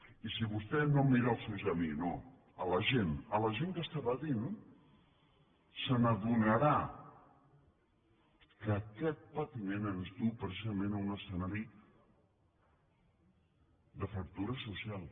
i si vostè no em mira els ulls a mi no a la gent a la gent que està patint s’adonarà que aquest patiment ens duu precisament a un escenari de fractura social